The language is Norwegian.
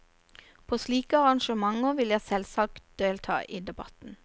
På slike arrangementer vil jeg selvsagt delta i debatten.